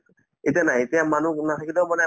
এতিয়া নাই এতিয়া মানুহ নাথাকিলেও মানে